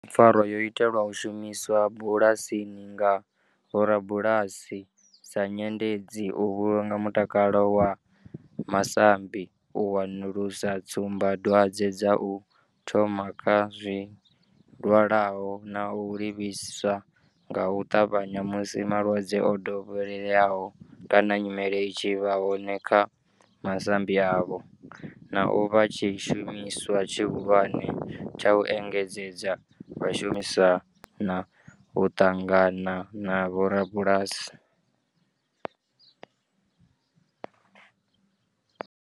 Pfarwa yo itelwa u shumiswa bulasini nga vhorabulasi sa nyendedzi u vhulunga mutakalo wa masambi, u wanulusa tsumbadwadzwe dza u thoma kha zwilwalaho na u livhisa nga u tavhanya musi malwadze o dovheleaho kana nyimele i tshi vha hone kha masambi avho, na u vha tshishumiswa tshihulwane tsha u engedzedza vhashumi musi vha tshi khou shumisana na u ṱangana na vhorabulasi.